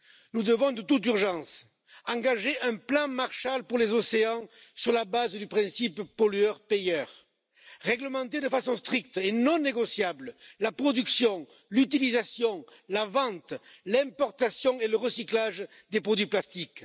Nous devons de toute urgence engager un plan Marshall pour les océans, sur la base du principe pollueur payeur, réglementer de façon stricte et non négociable la production, l'utilisation, la vente, l'importation et le recyclage des produits plastiques.